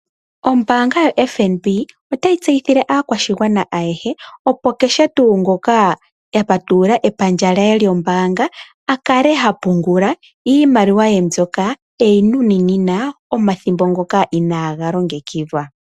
Ombaanga yoFNB otayi tseyithile aakwashigwana ayehe kutya opo kehe ngoka a patulula epandja lye lyombaanga, akale ha pungula iimaliwa ye mbyoka eyi nunina omathimbo ngoka inaaga longekidhwa.